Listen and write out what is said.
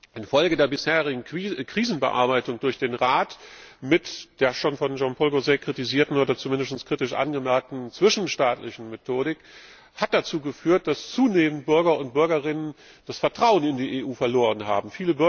Infolge der bisherigen Krisenbearbeitung durch den Rat mit der schon von Jean Paul Gauzès kritisierten oder zumindest kritisch angemerkten zwischenstaatlichen Methodik hat dazu geführt, dass zunehmend Bürger und Bürgerinnen das Vertrauen in die EU verloren haben.